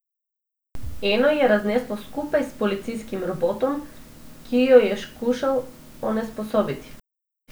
Eno je razneslo skupaj s policijskim robotom, ki jo je skušal onesposobiti.